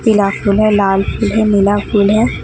पिला फूल हैं लाल फूल हैं नीला फूल है।